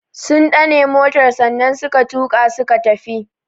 Sun dane motar sannan suka tuka suka tafi.